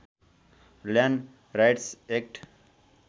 land rights act